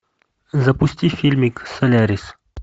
запусти фильмик солярис